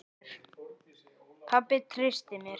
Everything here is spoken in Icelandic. Pabbi treysti mér.